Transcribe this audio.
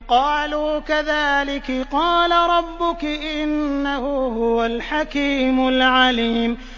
قَالُوا كَذَٰلِكِ قَالَ رَبُّكِ ۖ إِنَّهُ هُوَ الْحَكِيمُ الْعَلِيمُ